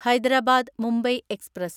Hyderabad Mumbai express